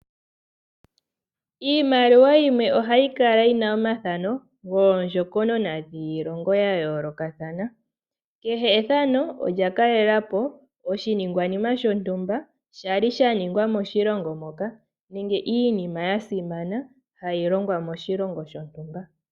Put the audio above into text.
Iimaliwa yimwe ohayi kala yina omathano goondjokonona dhiilongo ya yoolokathana Kehe ethano olya kalele po oshiningwa nima shontumba sha li sha ningwa moshilongo moka nenge iinima ya simana hayi longwa moshilongo shontumba